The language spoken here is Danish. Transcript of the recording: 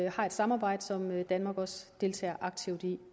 har et samarbejde som danmark også deltager aktivt i